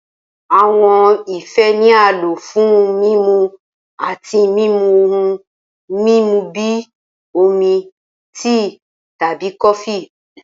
Awọn ife ni a lo fun mimu ati mimu ohun mimu bi omi, tii, tabi kofi.